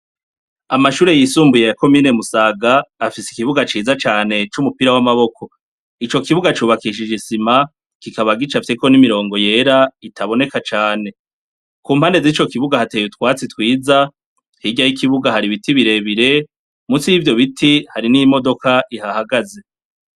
Amashure yisumbuye ya komine Musaga, afise ikibuga ciza cane c'umupira w'amaboko. Ico kibuga cubakishije isima, kikaba gicafyeko n'imirongo yera, itaboneka cane. Ku mpande z'ico kibuga hateye utwatsi twiza, hirya y'ikibuga hari ibiti birebire, munsi y'ivyo biti hari n'imodoka ihahagaze.